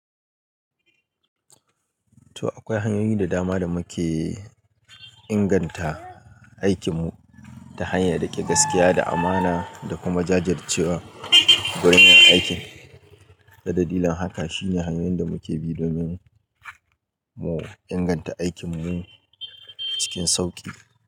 To akwai hanyoyi da dama da muke inganta aikinmu ta hanyar riƙe gaskiya da amana da kuma jajircewa gurin yin aikin. Ta dalilin haka shine hanyoyin da muke bi domin mu inganta aikinmu cikin sauƙi.